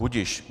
Budiž.